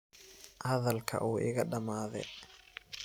Hadalka uu iikadamadhe.